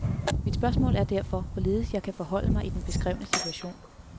Mit spørgsmål er derfor, hvorledes jeg kan forholde mig i den beskrevne situation.